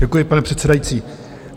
Děkuji, pane předsedající.